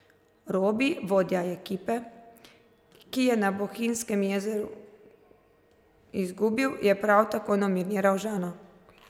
Robi, vodja ekipe, ki je na Bohinjskem jezeru izgubil, je prav tako nominiral Žana.